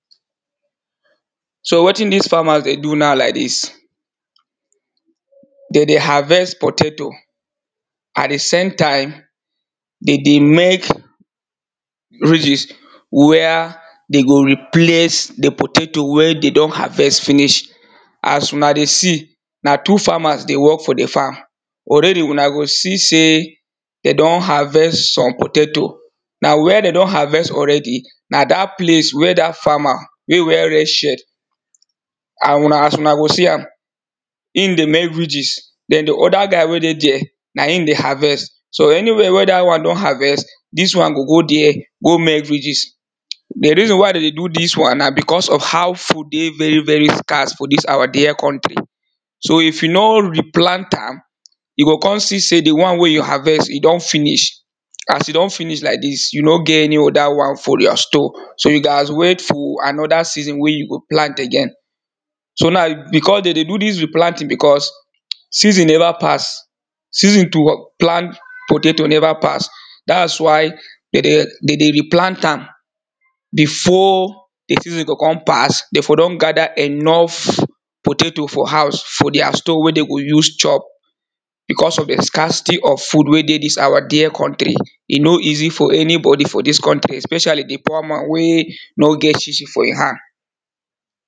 So wetin dis farmer dey do now like dis dey dey harvest potato and di same time dey dey make ridges wey dey go replace di potato wey dem don harvest finish, as una dey see na two farmers dey work for di farm already una dey see sey dey don harvest some potato, na where dey don harvest already na dat place where dat farmer wey wear red shirt and as una go see am Im dey make ridges den di oda guy wey dey dere harvest so anywhere wey dat one don harvest dis one go go dere go make ridges. Di reason why dem dey do dis one na becos of how food dey very very scarces for dis our dear country so if you no replant am you go kon see sey di one wey you harvest e don finish as e don finish like dis you no get any oda one for your store so you go wait for anoda season wey you go plant again, so now becos dey dey do dis replanting becos season nova pass, season to plant potato nova pass dat why dey dey replant am before di season go kon pass dey for don gada enough potato for house for dia store wey dey go use chop becos of di scarcity of food wey dey dis our dear country e no easy for any body for dis country especially di poor man wey no get chi chi for e hand.